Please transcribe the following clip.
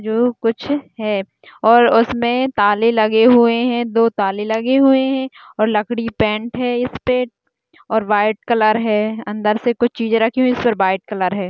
जो कुछ है और उसमें ताले लगे हुए हैं दो ताले लगे हुए हैं और लकड़ी पेंट है इसपे और वाइट कलर है और अन्दर से कुछ चीज़ें रखी हुई सिर्फ वाइट कलर है।